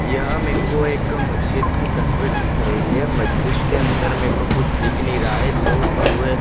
यहां मेको एक मज्जिद की तस्वीर दिख रही है मज्जिद के अंदर मेको कुछ दिख नहीं रहा है दो कुएं--